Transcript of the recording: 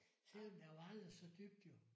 Selvom der var aldrig så dybt jo